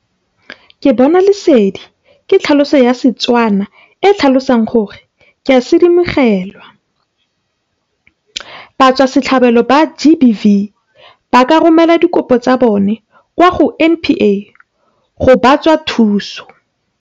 Ke Bona Lesedi ke tlhaloso ya Setswana e e tlhalosang gore ke a sedimogelwa. Batswasetlhabelo ba GBV ba ka romela dikopo tsa bona kwa go NPA go ba tswa thuso.